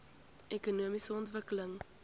ekonomiese ontwikkeling